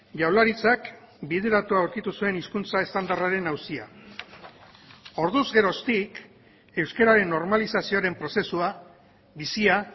jaurlaritzak bideratua aurkitu zuen hizkuntza estandarraren auzia orduz geroztik euskararen normalizazioaren prozesua bizia